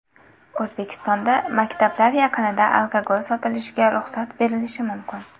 O‘zbekistonda maktablar yaqinida alkogol sotilishiga ruxsat berilishi mumkin.